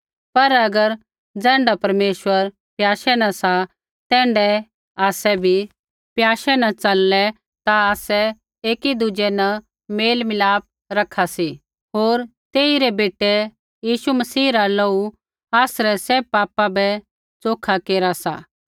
पर अगर ज़ैण्ढा परमेश्वर प्याशै न सा तैण्ढाऐ आसै भी प्याशे न चललै ता आसै एकी दुज़ै न मेल मिलाप रखा सी होर तेइरै बेटै यीशु मसीह रा लोहू आसरै सैभ पापा बै च़ोखै केरा सी